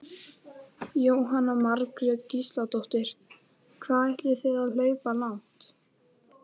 Jóhanna Margrét Gísladóttir: Hvað ætlið þið að hlaupa langt?